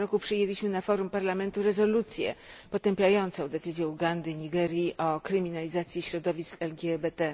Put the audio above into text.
przyjęliśmy na forum Parlamentu rezolucję potępiającą decyzję Ugandy i Nigerii o kryminalizacji środowisk LGBT.